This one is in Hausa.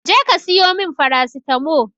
Je ka siyo mun farasitamo